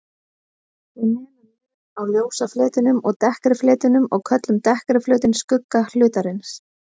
Við nemum mun á ljósa fletinum og dekkri fletinum og köllum dekkri flötinn skugga hlutarins.